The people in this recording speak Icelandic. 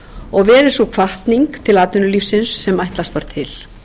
og verið sú hvatning til atvinnulífsins sem ætlast var til